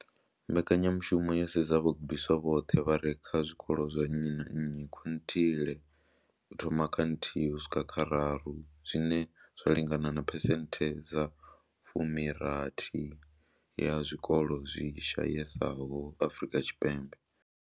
Mbekanyamushumo yo sedza vhagudiswa vhoṱhe vha re kha zwikolo zwa nnyi na nnyi zwa quintile u thoma kha nthihi uswika kha raru, zwine zwa lingana na phesenthe dza 60 ya zwikolo zwi shayesaho Afrika Tshipembe.